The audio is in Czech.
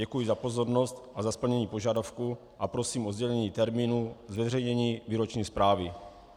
Děkuji za pozornost a za splnění požadavku a prosím o sdělení termínu zveřejnění výroční zprávy.